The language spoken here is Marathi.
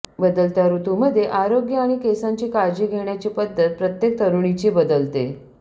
बदलत्या ऋतुमध्ये आरोग्य आणि केसांची काळजी घेण्याची पद्धत प्रत्येक तरूणीची बदलते